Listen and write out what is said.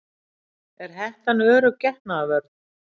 Er hettan örugg getnaðarvörn?